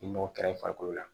Ni mɔgo kɛr'i farikolo la